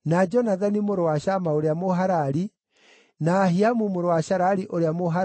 mũrũ wa Shama ũrĩa Mũharari, na Ahiamu mũrũ wa Sharari ũrĩa Mũharari,